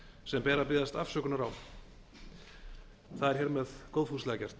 sem ber að biðjast afsökunar á það er hér með góðfúslega gert